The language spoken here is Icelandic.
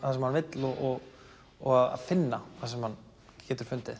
það sem hann vill og og finna það sem hann getur fundið